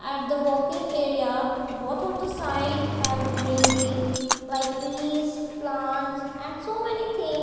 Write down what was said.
at the walking area both of the side has greenery like trees plants and so many thing.